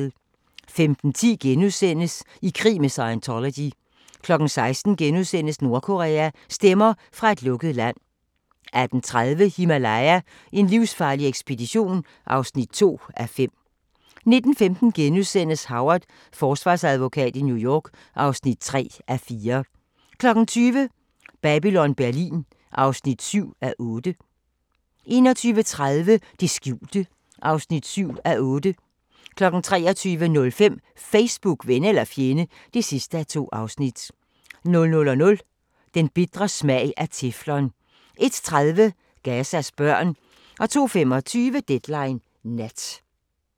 15:10: I krig med Scientology * 16:00: Nordkorea – stemmer fra et lukket land * 18:30: Himalaya: En livsfarlig ekspedition (2:5) 19:15: Howard – forsvarsadvokat i New York (3:4)* 20:00: Babylon Berlin (7:8) 21:30: Det skjulte (7:8) 23:05: Facebook – ven eller fjende (2:2) 00:00: Den bitre smag af teflon 01:30: Gazas børn 02:25: Deadline Nat